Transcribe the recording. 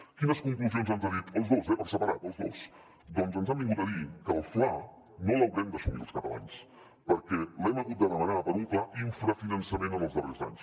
quines conclusions ens han dit els dos eh per separat els dos doncs ens han vingut a dir que el fla no l’haurem d’assumir els catalans perquè l’hem hagut de demanar per un clar infrafinançament en els darrers anys